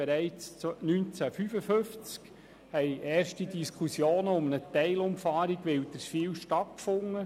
Bereits 1955 fanden erste Diskussionen um eine Teilumfahrung Wilderswil statt.